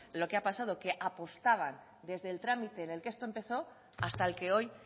lo que ha pasado que apostaban desde el trámite en que esto empezó hasta el que hoy